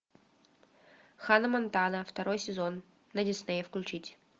ханна монтана второй сезон на диснее включить